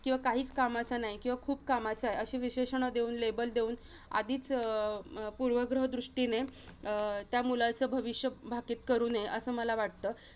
किंवा काहीच कामाचा नाही, किंवा खूप कामाचा आहे. अशी विशेषण देऊन label देऊन आधीच अं पूर्वग्रह दृष्टीने अं त्या मुलाचं भविष्य भाकीत करू नये असं मला वाटतं.